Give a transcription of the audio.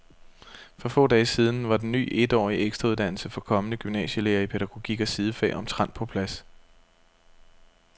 For få dage siden var den ny etårige ekstrauddannelse for kommende gymnasielærere i pædagogik og sidefag omtrent på plads.